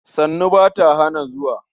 sannu ba ta hana zuwa.